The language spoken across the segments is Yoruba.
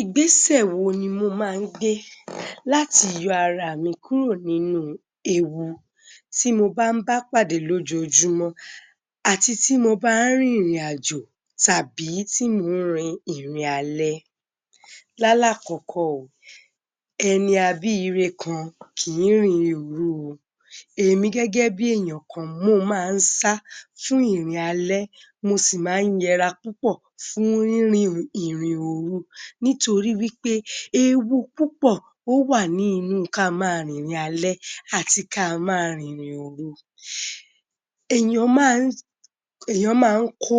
Ìgbésẹ̀ wo ni mo máa ń gbe láti yọ ara mi kúrò nínú ewu tí mo bá ń bá pàdé lójoojúmọ́ àti tí mo bá ń rin ìrìn-àjò tàbí tí mò ń rin ìrìn-alẹ́?. Yálà àkọ́kọ́ o, ẹni a bí i ire kan kì í rin ìrìn òru o. Èmi gẹ́gẹ́bí èèyàn kan, mo máa n sá fún ìrìn-alẹ́, mo sì máa ń yẹra púpọ̀ fún rírìn, ìrìn òru nítorí wí pé ewu púpọ̀, ó wà ní inú ká máa rin ìrìn-alẹ́ àti ká a máa rin ìrìn-òru. Èèyàn máa ń kọ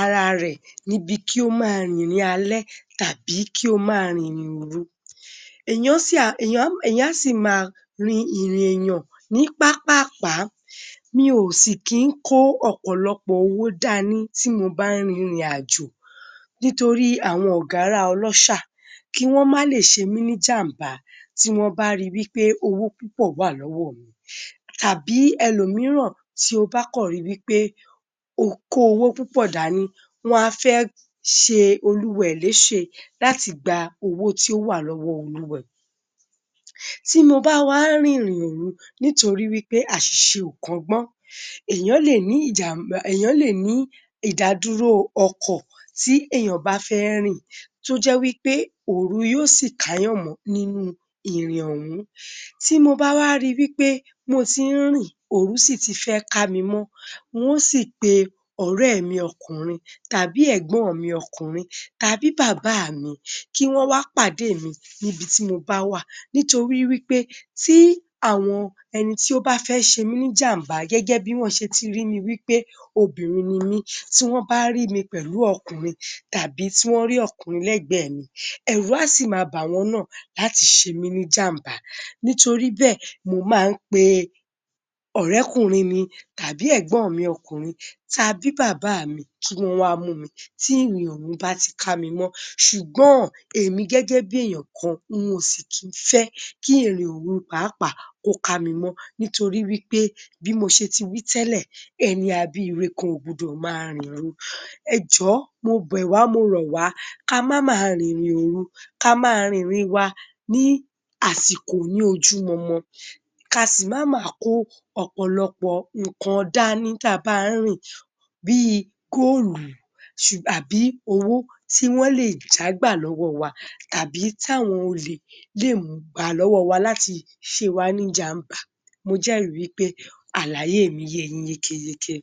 ara rẹ̀ níbi kí ó máa rin ìrìn-alẹ́ tàbí kí ó máa rin ìrìn òru. Èèyàn á sì máa rin ìrìn èèyàn ní pápáàpá. Mi ò sì kí ń kó ọ̀pọ̀lọpọ̀ owó dani tí mo bá ń rin ìrìn-àjò nítorí àwọn ọ̀gárá-ọlọ́ṣà kí wọ́n má lè ṣe mí ní ìjàmbá tí wọ́n bá ri wí pé owó púpọ̀ wà lọ́wọ́ mi. Tàbí ẹlòmíràn tí ó kàn ri wí pé o kó owó púpọ̀ dání, wọ́n á fẹ́ ṣe olúwa ẹ̀ léṣe láti gba owó tí ó wà lọ́wọ́ olúwa ẹ̀. Tí mo bá wa rìn ìrìn òru nítorí wí pé àṣìṣe ò kọ́gbọ́n, èèyàn lè ní ìjàmba, èèyàn lè ní ìdádúró ọkọ̀ tí èèyàn bá fẹ́ rìn tó jẹ́ wí pé òru ló sì káyàn mọ́ nínú ìrìn ọ̀hún. Tí mo bá wá ri wí pé mo tí ń rìn, òru sì ti fẹ́ ká mi mọ́, nwó sì pe ọ̀rẹ́ mi ọkùnrin tàbí ẹ̀gbọ́n mi ọkùnrin tàbí bàbá mi kí wọ́n wá pàdé mi níbití mo bá wà nítorí wí pé tí àwọn ẹni tí ó bá fẹ́ ṣe mí ní ìjàmbá gẹ́gẹ́bí wọ́n ṣe ti rí mi wí pé obìnrin ni mí, tí wọ́n bá rí mi pẹ̀lú ọkùnrin tàbí tí wọ́n rí ọkùnrin lẹ́gbẹ̀ẹ́ mi, ẹ̀rù á sì ma ba àwọn náà láti ṣe mí ní ìjàmbá. Nítorí bẹ́ẹ̀, mo máa ń pe ọ̀rẹ́kùnrin mi tàbí ẹ̀gbọ́n mi ọkùnrin tàbí bàbá mi, kí wọ́n wá mu mi tí ìrìn-òru bá ti kámi mọ́ ṣùgbọ́n, èmi gẹ́gẹ́bí èèyàn kan, nwò si kí ń fẹ́ kí ìrìn-òru pàápàá kó ká mi mọ́ nítorí wí pé bí mo ṣe ti wí tẹ́lẹ̀, ẹni a bíire kan ò gbọ́dọ̀ máa rin ìrìn òru. Ẹjòó, mo bẹ̀ wá, mo rọ̀ wá, kamáma rin ìrìn- òru, ká máa rin ìrìn wa ní àsìkò ní ojú mọmọ, ka sì máma kó ọ̀pọ̀lọpọ̀ nǹkan dání tabá ń rìn bí i góólù àbí owó tí wọ́n lè jágbà lọ́wọ́ wa tàbí táwọn olè lè mú gbà lọ́wọ́ wa láti ṣe wá ní ìjàmbá. Mo jẹ́rìí wí pé àlàyé mi ye yín yékéyéjé.